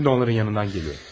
Şimdi onların yanından gəliyorum.